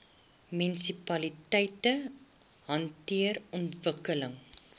munisipaliteite hanteer ontwikkeling